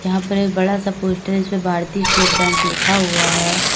यहां पर एक बड़ा सा पोस्टर है जिस पे भारतीय स्टेट बैंक लिखा हुआ है।